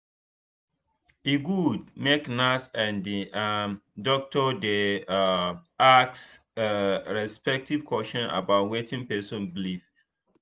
e good make nurse and um doctor dey um ask um respectful question about wetin person believe.